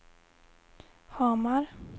Hamar